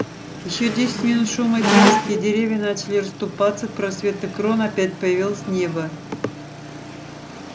ещё десять минут шума и тряски и деревья начали расступаться просветы крона опять появилось небо